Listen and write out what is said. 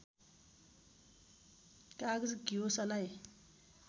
कागज घिउ सलाई